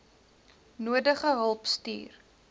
nodige hulp stuur